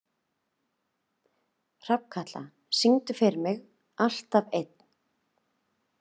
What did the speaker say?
Hrafnkatla, syngdu fyrir mig „Alltaf einn“.